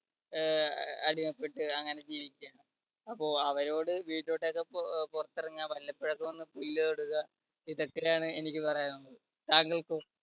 അഹ് അടിമപ്പെട്ട് അങ്ങനെ ജീവിക്കാണ്. അപ്പോ അവരോട് വീട്ടിലോട്ടൊക്കെ അഹ് പുറത്തിറങ്ങാൻ വല്ലപ്പോഴും ഒക്കെ ഒന്ന് പുല്ല് തൊടുക ഇതൊക്കെയാണ് എനിക്ക് പറയാനുള്ളത്. താങ്കൾക്കോ?